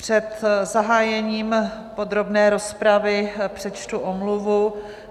Před zahájením podrobné rozpravy přečtu omluvu.